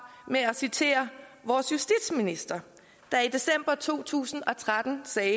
med at citere vores justitsminister der i december to tusind og tretten sagde